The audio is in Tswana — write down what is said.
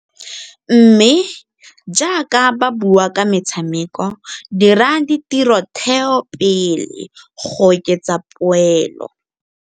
Mme, jaaka ba bua ka metshameko dira ditirotheo pele go oketsa poelo.